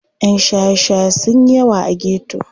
Yan shaye-shaye sun yi yawa a geto.